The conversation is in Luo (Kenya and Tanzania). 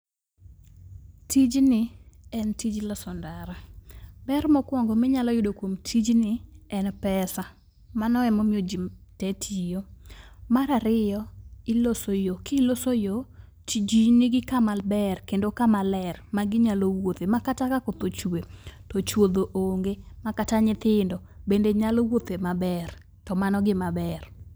Tijni en tij loso ndara. Ber mokuongo ma inyalo yudo kuom tijni, en pesa. Mano emomiyo ji te tiyo. Mar ariyo, iloso yo. Kiloso yo, to ji nigi kama ber kendo kama ler maginyalo wuothe makata ka koth ochue , to chuodho onge makata nyithindo bende nyalo wuothe maber, to mano gima ber.